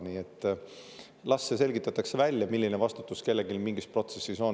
Nii et las see selgitatakse välja, milline vastutus kellelgi mingis protsessis on.